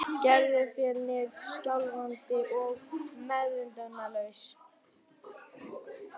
Gerður féll niður skjálfandi og meðvitundarlaus.